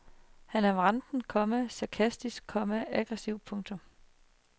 Han er vranten, komma sarkastisk, komma aggressiv. punktum